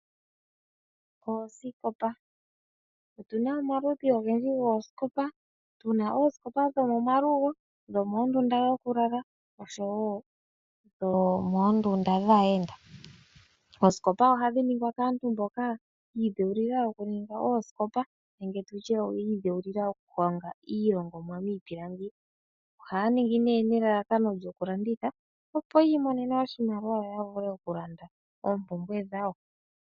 Oosikopa, otuna omaludhi ogendji goosikopa, tuna oosikopa dhomomalugo, dhomoondunda dhokulala noshowo dhomoondunda dhaayenda. Osikopa ohadhi ningwa kaantu mboka ya idheulila oku ninga oosikopa nenge tutye yi ildheulila oku ninga iilongomwa miipilangi. Ohaya ningi nelelakano lyoku landitha, opo yi imonene oshimaliwa yo ya vule oku landa oompumbwe dhawo.